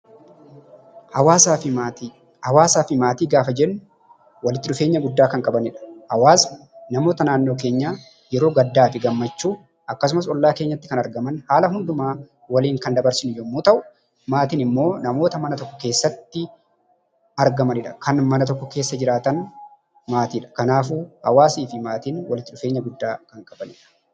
Hawaasaa fi Maatii Hawaasaa fi maatii gaafa jennu walitti dhufeenya guddaa kan qabaniidha. Hawaasni namoota naannoo keenyaa yeroo gaddaa fi gammachuu, akkasumas ollaa keenyatti kan argaman, haala hundumaa waliin kan dabarsine yommuu ta'u, maatiin immoo namoota mana tokko keessatti argamani dha. Kan mana tokko keessa jiraatan maatii dha. Kanaafuu, hawaasii fi maatiin walitti dhufeenya guddaa kan qabaniidha.